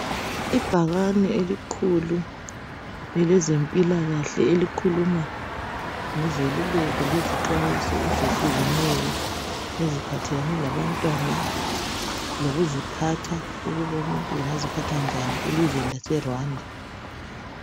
Ibhakani elikhulu elezempilakahle elikhuluma ngezeluleko lezinxwayiso ezehlukeneyo eziphathelane labantwana lokuziphatha okokuthi umuntu ungaziphatha njani elizweni lase Rwanda